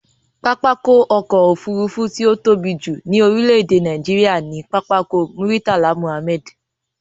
Pápákọ̀ ọ̀kọ òfurufú tí ó tóbi jù ní orílé èdè Nàìjíría ni Pápákọ̀ Murtala Mohammed